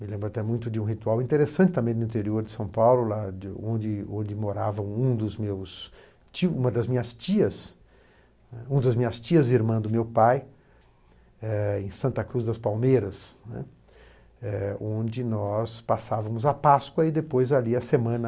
Me lembro até muito de um ritual interessante também no interior de São Paulo, lá onde onde morava um dos meus uma das minhas tias, uma das minhas tias e irmã do meu pai, eh em Santa Cruz das Palmeiras, né, eh onde nós passávamos a Páscoa e depois ali a semana